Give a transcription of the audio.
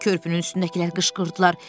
Körpünün üstündəkilər qışqırdılar.